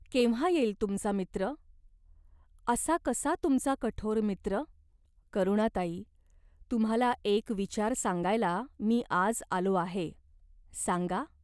केव्हा येईल तुमचा मित्र ? असा कसा तुमचा कठोर मित्र ?" "करुणाताई, तुम्हाला एक विचार सांगायला मी आज आलो आहे." "सांगा.